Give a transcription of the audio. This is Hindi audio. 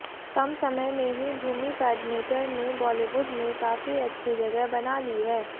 कम समय में ही भूमी पेडनेकर ने बॉलीवुड में काफी अच्छी जगह बना ली है